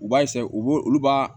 U b'a u b'o olu b'a